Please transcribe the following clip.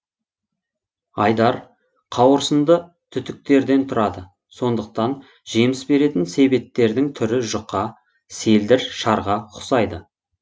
айдар қауырсынды түтүктерден тұрады сондықтан жеміс беретін себеттердің түрі жұқа селдір шарға ұқсайды